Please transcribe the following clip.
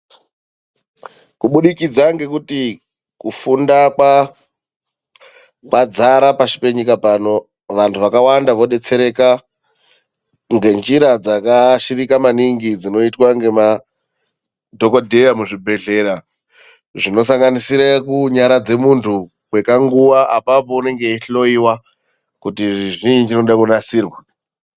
Kubudikidza ngekuti kufunda kwadzara pasi penyika pano, vantu vakawanda vodetsereka ngenjira dzakaashirika maniningii dzinoitwa ngemadhokodheya muzvinhedhlera zvinosanganisira kunyaradza muntu muzvibhedhlera kwekaguwa apapo anenge eyihloiwa kuti chini choda kunasirwa.